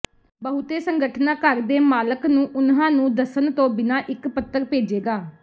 ਬਹੁਤੇ ਸੰਗਠਨਾਂ ਘਰ ਦੇ ਮਾਲਕ ਨੂੰ ਉਨ੍ਹਾਂ ਨੂੰ ਦੱਸਣ ਤੋਂ ਬਿਨਾਂ ਇੱਕ ਪੱਤਰ ਭੇਜੇਗਾ